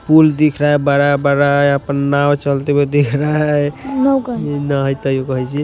पुल दिख रहा है बड़ा-बड़ा अपन नाव चलते हुए दिख रहा है नाव का --